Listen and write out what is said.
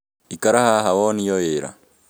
Ikara haha wonio wĩra